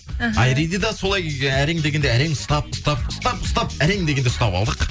іхі айриді да солай әрең дегенде әрең ұстап ұстап ұстап ұстап әрең дегенде ұстап алдық